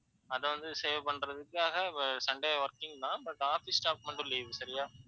அதுவந்து save பண்றதுக்காக sunday working தான். but office staffs கு மட்டும் leave சரியா.